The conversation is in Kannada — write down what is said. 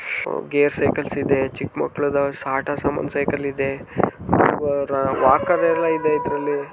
ಗೇರ್ ಸೈಕ್ಲಸ್ ಇದೆ ಚಿಕ್ಕ ಮಕ್ಕಳ ಆಟ ಸಾಮಾನು ಸೈಕಲ್ ಇದೆ. ವಾಕರ್ ಎಲ್ಲಾ ಇದೆ ಇದರಲ್ಲಿ.